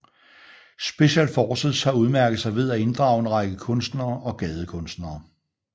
Special Forces har udmærket sig ved at inddrage en række kunstnere og gadekunstnere